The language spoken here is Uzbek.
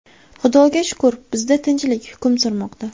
Xudoga shukr, bizda tinchlik hukm surmoqda.